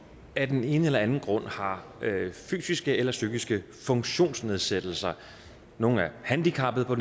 af den ene eller anden grund har fysiske eller psykiske funktionsnedsættelser nogle er handicappede på